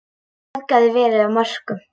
Traðkað verið á mörkum.